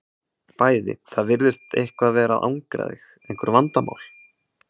Bæði Það virðist eitthvað vera að angra þig, einhver vandamál?